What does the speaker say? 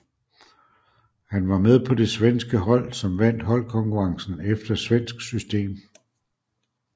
Han var med på det svenske hold som vandt holdkonkurrencen efter svensk system